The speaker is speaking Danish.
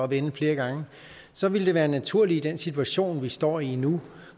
vende flere gange og så ville det være naturligt i den situation vi står i nu